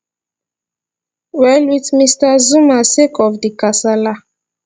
well wit mr zuma sake of di kasala